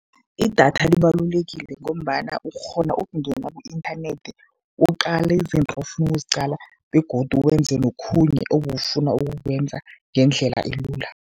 Idatha libalulekile ngombana ukghona ukungena ku-inthanethi, uqale izinto ofuna ukuziqala begodu wenze nokhunye obowufana ukukwenza ngendlela elula.